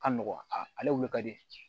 Ka nɔgɔn ale wuli ka di